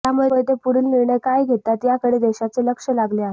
त्यामुळे ते पुढील निर्णय काय घेतात याकडे देशाचे लक्ष लागले आहे